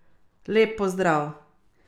Lep pozdrav.